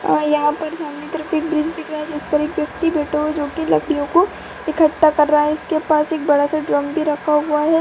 और यहां पर सामने की तरफ एक ब्रिज दिख रही है जिसपर एक व्यक्ती बैठा हुआ है जो की लकड़ीयों को इकट्ठा कर रहा है। इसके पास एक बड़ा सा ड्रम भी रखा हुआ है।